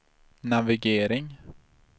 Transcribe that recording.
navigering